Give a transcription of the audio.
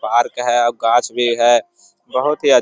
Park है और गाछ भी है। बहुत ही अच्छ --